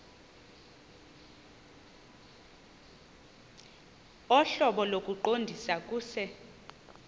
ohlobo lokuqondisa kuse